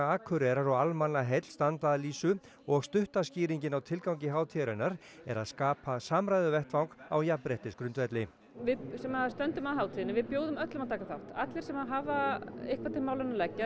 Akureyrar og Almannaheill standa að lýsu og stutta skýringin á tilgangi hátíðarinnar er að skapa samræðuvettvang á jafnréttisgrundvelli við sem stöndum að hátíðinni við bjóðum öllum að taka þátt allir sem finnst hafa eitthvað til málanna að leggja